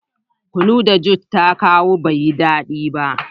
Kunu da "Judith " ta kawo bai da dadi.